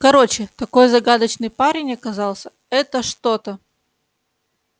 короче такой загадочный парень оказался это что-то